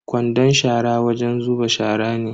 Kwandon shara wajen zuba shara ne.